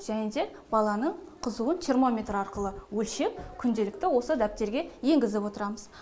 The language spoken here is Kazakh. және де баланың қызуын термометр арқылы өлшеп күнделікті осы дәптерге енгізіп отырамыз